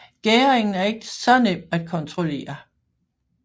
Gæringen er ikke så nem at kontrollere